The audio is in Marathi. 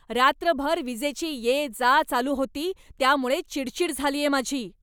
रात्रभर वीजेची ये जा चालू होती त्यामुळे चिडचिड झालीये माझी.